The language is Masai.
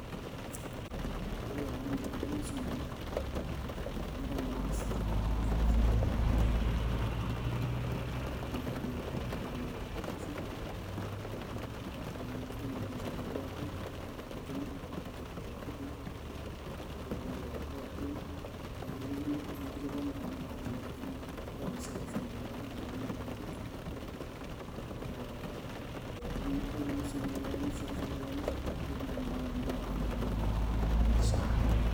Oltung'ani pee edumu esimu enye, neirony star one forty seven nepik hash. Nepik naa ID enye pee eayaki verification. Neitutum olmesej lekiaki, ore pee itum nekijoki tipika pin nekinkilikwani tanaa iata esiai ashu Miata , tenimiata nipik. Nilimu sii tanaa iyamishe anaa eitu iamisho, nitum naa ainoto account ino e SHA.